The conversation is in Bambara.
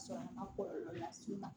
Ka sɔrɔ a ma kɔlɔlɔ lase i ma